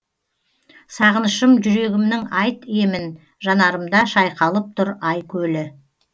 сағынышым жүрегімнің айт емін жанарымда шайқалып тұр ай көлі